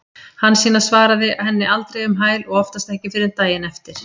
Hansína svaraði henni aldrei um hæl og oftast ekki fyrr en daginn eftir.